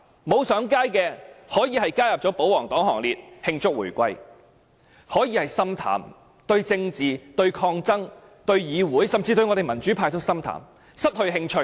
沒有上街的市民，可能已經加入保皇黨行列，慶祝回歸；可能已經心淡，對政治、抗爭、議會，甚至民主派都心淡，失去興趣。